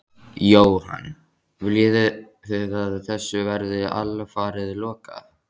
Jóhann: Viljið þið að þessu verði alfarið lokað?